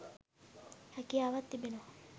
හැකියාවක් තිබෙනවා